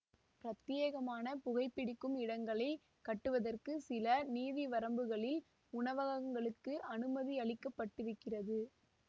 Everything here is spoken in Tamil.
பிரத்யேகமான புகைபிடிக்கும் இடங்களை கட்டுவதற்கு சில நீதிவரம்புகளில் உணவகங்களுக்கு அனுமதியளிக்கப்பட்டிருக்கிறது